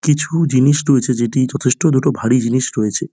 কিছু-উ জিনিস রয়েছে যেটি যথেষ্ট দুটো ভারী জিনিস রয়েছে।